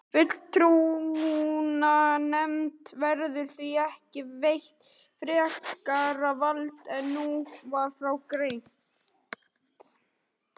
Fulltrúanefnd verður því ekki veitt frekara vald en nú var frá greint.